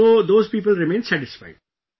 So those people remain satisfied